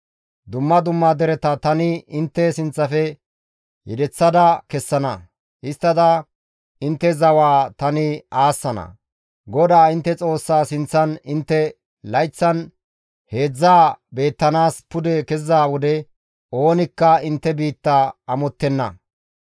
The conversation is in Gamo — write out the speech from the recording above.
Dumma dumma dereta tani intte sinththafe yedeththa kessana; histtada intte zawaa tani aassana. GODAA intte Xoossaa sinththan intte layththan heedzdzaa beettanaas pude keziza wode oonikka intte biitta amottenna.